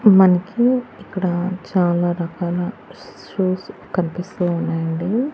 మనకి ఇక్కడ చాలారకాల షూస్ కనిపిస్తూ ఉన్నాయి అండి.